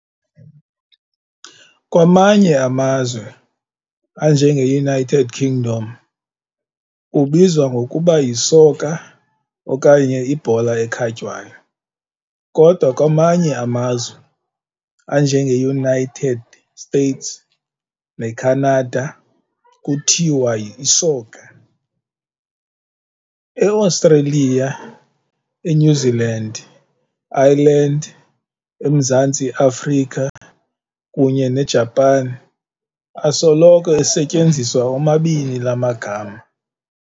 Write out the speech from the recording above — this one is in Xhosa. Kwamanye amazwe, anje ngeUnited Kingdom, ubizwa ngokuba yisoka okanye ibhola ekhatywayo, kodwa kwamanye amazwe, anje ngeUnited States neCanada, kuthiwa isoka. EAustralia, eNew Zealand, Ireland, eMzantsi Afrika, kunye neJapan, asoloko esetyenziswa omabini laa magama.